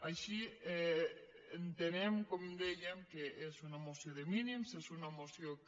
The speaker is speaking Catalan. així entenem com dèiem que és una moció de mínims és una moció que